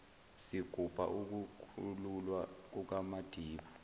sigubha ukukhululwa kukamadiba